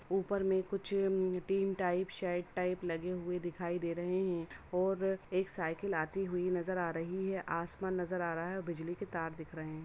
ऊपर में कुछ टाइप लगे हुए दिखाई दे रहें हैं और एक साइकिल आती हुई नजर आ रही है। आसमान नजर आ रहा है। बिजली के तार दिख रहे हैं।